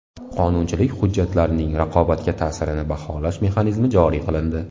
Qonunchilik hujjatlarining raqobatga ta’sirini baholash mexanizmi joriy qilindi.